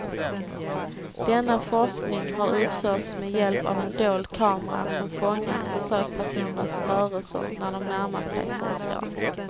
Denna forskning har utförts med hjälp av en dold kamera som fångat försökspersonernas rörelser när de närmat sig forskaren.